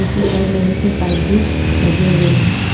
उसी साइड लोहे के पाइप भी लगे हुए हैं।